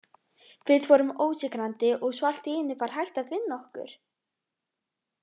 Við vorum ósigrandi og svo allt í einu var hægt að vinna okkur.